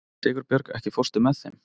Sigurbjörg, ekki fórstu með þeim?